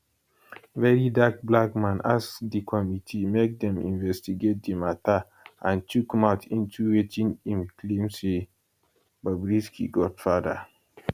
verydarkblackman ask di committee make dem investigate di mata and chook mouth into wetin im claim say na bobrisky godfather